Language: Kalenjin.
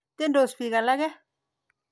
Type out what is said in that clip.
Tyendos piik alake.